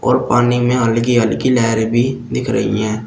पानी में हल्की हल्की लहरे भी दिख रही है।